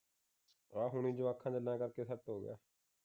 ਆ ਹੁਣ ਜੁਆਕਾਂ ਕਰਕੇ ਸੈੱਟ ਹੋ ਗਿਆ